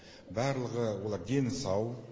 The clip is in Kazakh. барлығы олар дені сау